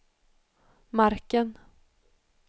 marken